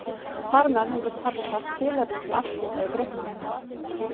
Þar með höfðu Persar tilefni til afskipta í Grikklandi.